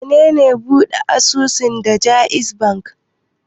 Wane ne ɓuɗe asusu da JAIZ Bankk?